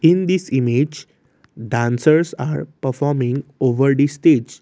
in this image dancers are performing over the stage.